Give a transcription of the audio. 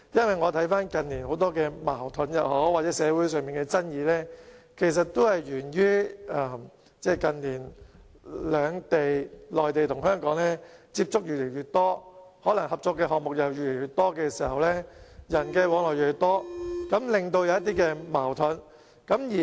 回看近年很多矛盾或社會上的爭議，其實都源於內地與香港的接觸越來越多，合作的項目越來越多，人的往來亦越來越多，繼而出現一些矛盾。